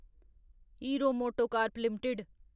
hero MotoCorp limited